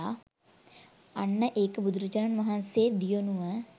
අන්න ඒක බුදුරජාණන් වහන්සේ දියුණුව